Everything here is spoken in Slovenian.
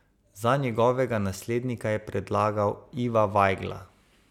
Za njegovega naslednika je predlagal Iva Vajgla.